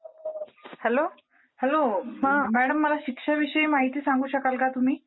Hello. Madam मला शिक्षा विषयी माहिती सांगू शकाल का तुम्ही?